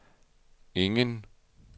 ingen